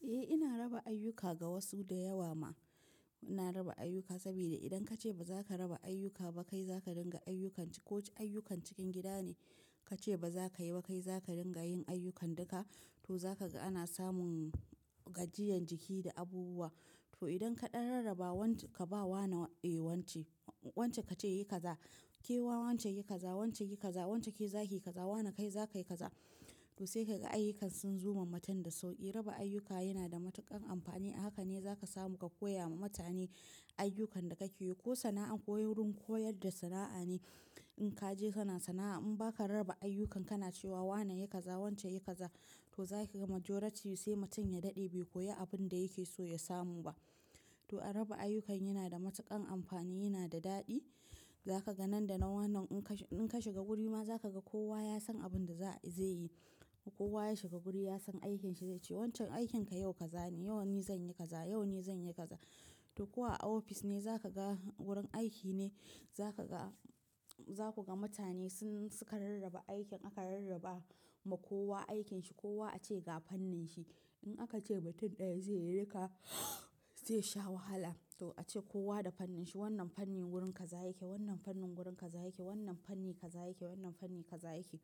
Eh, ina raba ayyuka ga wasu da yawa ma. Ina raba ayyuka saboda idan kace bazaka raba ayyuka ba, kai zaka ringa ayyukan. Ko ayyukan cikin gida ne kace ba zaka yi ba, kai zaka ringa yin ayyukan duka. To za kaga ana samun gajiyan jiki da abubuwa. To idan kaɗan rarraba wanci, ka bawa na, eh wance, wance kace yi kaza, kema wance yi kaza, wance yi kaza, wance ke zaki kaza, wana kai za kayi kaza. To sai kaga ayyukan sun zo ma mutum da sauƙi. Raba ayyuka yana da matuƙan amfani. Haka ne zaka samu ka koya ma mutane ayyukan da kake yi. Ko sana'a, ko wurin koyar da sana'a ne. In kaje sana sana'a in baka raba ayyukan, kana cewa wane yi kaza, wance yi kaza to za ki ga majority sai mutum ya daɗe bai koyi abun da yake so ya samu ba. To a raba ayyukan yana da matuƙan amfani, yana da daɗi. Zaka ga nan da nan wannan in ka shiga guri ma zaka ga kowa ya san abinda zai yi. Kowa ya shiga guri ya san aikin shi zai ce, Wancan aikin ka yau kaza ne, yau ni zanyi kaza, yau ni zanyi kaza. To kowa a office ne, zaka ga wurin aiki ne zaka ga mutane sun, suka rarraba aikin. Aka rarraba ma kowa aikin shi. Kowa ace ga fannin shi. In aka ce mutum ɗaya zai yi duka, zai sha wahala. To ace kowa da fannin shi. Wannan fannin wurin kaza yake, wannan fannin wurin kaza yake, wannan fanni kaza yake, wannan fanni kaza yake.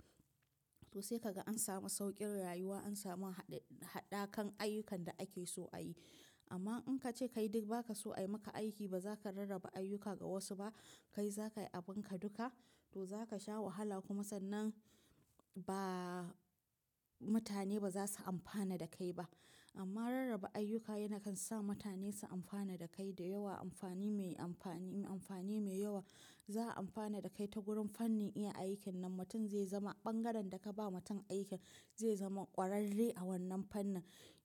To sai kaga an samu sauƙin rayuwa, an samu haɗakan ayyukan da ake so a yi. Amma in kace kai duk ba kaso a yi maka aiki, ba zaka rarraba ayyuka ga wasu ba, kai zaka yi abun ka duka to zaka sha wahala. Kuma sannan ba, mutane ba za su amfana da kai ba. Amma rarraba ayyuka yakan sa mutane su amfana da kai da yawa. Amfani mai yawa za a amfana da kai ta wurin fannin iya aikin nan. Mutum zai zama bangaren da ka ba mutum aikin zai zama ƙwararre a wannan fannin.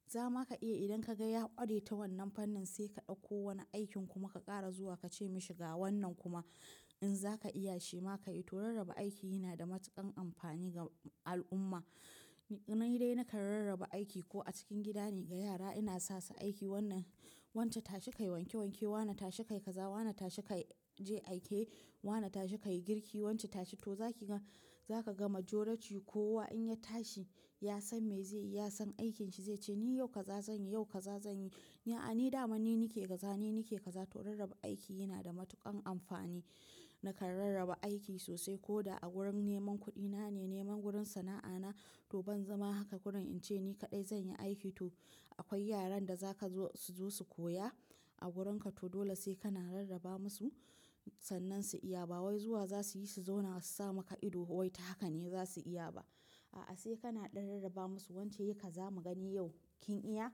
Zama ka iya idan ka ga ya ƙware ta wannan fannin sai ka ɗauko wani aikin kuma ka ƙara zuwa kace mashi ga wannan kuma in zaka iya shi ma ka yi. To rarraba aiki yana da matuƙan amfani ga al'umma. Ni dai nakan rarraba aiki ko a cikin gida ne ga yara ina sasu aiki wannan, wance tashi kayi wanke wanke, wana tashi kayi kaza, wana tashi kayi, je aike, wana tashi kayi girki, wance tashi. Toh, za kaga majority kowa in ya tashi ya san me zai yi, ya san aikin shi. Zai ce ni yau kaza zanyi, yau kaza zanyi. A'a, ni dama ni nake kaza, ni nake kaza. To rarraba aiki yana da matuƙan amfani. Nakan rarraba aiki sosai ko da a wurin neman kuɗi na ne, neman wurin sana'a na. To ban zama haka gurin in ce ni kaɗai zanyi aiki. To akwai yaran da zaka zo su zo su koya a wurinka to dole sai kana rarraba musu. Sannan su iya ba wai zuwa za suyi su zauna su samu ka ido wai ta haka ne za su iya ba. A'a, sai kana ɗan rarraba musu wance yi kaza mu gani yau kin iya?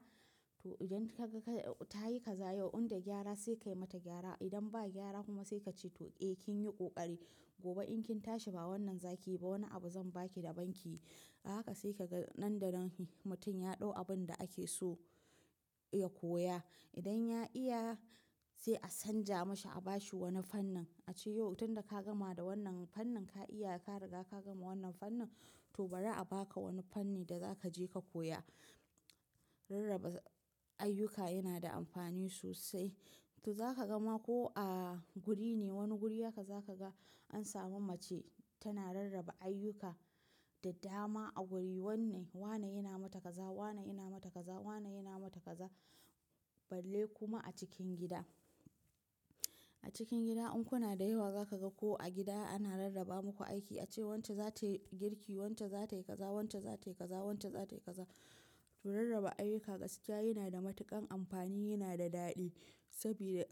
To idan kaga ka, ta yi kaza yau, inda gyara sai ka yi mata gyara. Idan ba gyara kuma sai kace to eh kin yi ƙoƙari. Gobe in kin tashi ba wannan zaki yi ba wani abu zan baki da banki. Haka sai kaga nan da nan mutum ya ɗau abun da ake so ya koya. Idan ya iya sai a canja masa, a bashi wani fannin. Ace yau tunda ka gama da wannan fannin ka iya, ka riga ka gama wannan fannin to bari a baka wani fanni da za kaje ka koya. Rarraba ayyuka yana da amfani sosai. Toh, za kaga ma ko a guri ne, wani guri haka za kaga an samu mace tana rarraba ayyuka da dama a guri. Wanne, wane yana mata kaza, wane yana mata kaza, wane yana mata kaza. Balle kuma a cikin gida. A cikin gida in kuna da yawa zakaga ko a gida ana rarraba muku aiki. Ace wance zatayi girki, wance zatayi kaza, wance zatayi kaza, wance zatayi kaza. To rarraba ayyuka gaskiya yana da matuƙan amfani, yana da daɗi. Sabida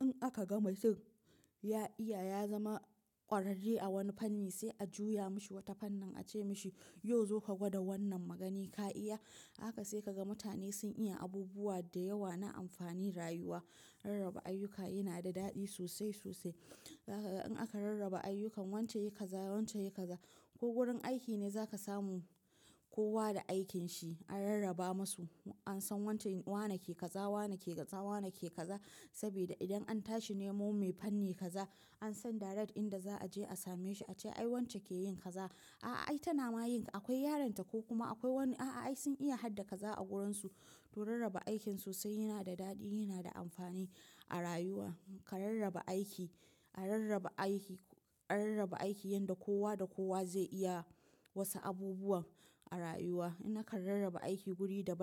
in aka ga mutum ya iya, ya zama ƙwararre a wani fanni sai a juya mashi wata fannin ace mashi, "yau zo ka gwada wannan." Ma gani ka iya? Haka sai kaga mutane sun iya abubuwa da yawa na amfani rayuwa. Rarraba ayyuka yana da daɗi sosai, sosai. Zaka ga in aka rarraba ayyukan wance yi kaza, wance yi kaza ko wurin aiki ne zaka samu kowa da aikin shi. An rarraba masu. An san wane ke kaza, wane ke kaza, wane ke kaza. Sabida idan an tashi nemo mai fanni kaza an san direct inda za aje a same shi. Ace ai wance keyin kaza, a'a, ai tana ma yin. Akwai yaron ta ko kuma akwai wani, a'a, ai sun iya hadda kaza a wurinsu. To rarraba aiki sosai yana da daɗi, yana da amfani a rayuwa. Ka rarraba aiki, a rarraba aiki, a rarraba aiki yanda kowa da kowa zai iya wasu abubuwa a rayuwa. Ina kan rarraba aiki guri da ban.